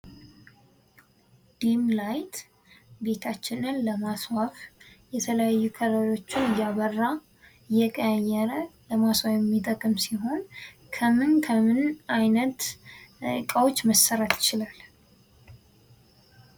ድም ላይት ቤታችንን ለማስዋብ የተለያዩ ከለሮችን እያበራ ፣እየቀያየረ ለማስዋብ የሚጠቅም ሲሆን ከምን ከምን አይነት እቃወች መሰራት ይችላል?